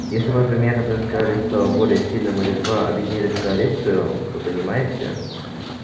если бы например одно из королевств стало более сильным или два объединились в коалицию вы понимаете